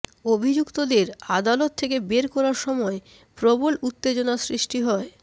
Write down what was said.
অভিযুক্তদের আদালত থেকে বের করার সময় প্রবল উত্তেজনা সৃষ্টি হয়